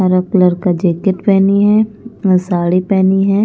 हरा कलर का जैकेट पहनी है साड़ी पहनी है।